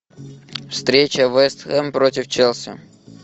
встреча вест хэм против челси